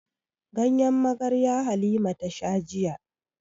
Ganyen magarya Halima ta sha jiya.